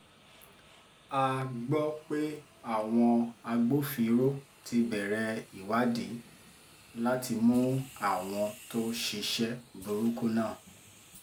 a gbọ́ pé àwọn agbófinró ti bẹ̀rẹ̀ ìwádìí láti mú àwọn tó ṣiṣẹ́ burúkú náà